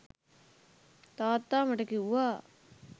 තාත්තා මට කිව්වා